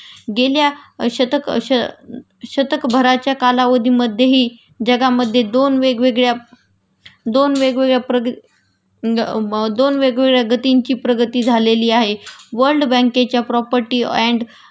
गेल्या शतक अ श शतकभराच्या कालावधीमध्येही जगामध्ये दोन वेगवेगळ्या दोन वेगवेगळ्या प्रग अ गं दोन वेगवेगळ्या गतींची प्रगती झालेली आहे.वर्ल्ड बँकेच्या प्रॉपर्टी अँड